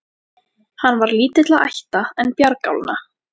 Hann var lítilla ætta, en bjargálna.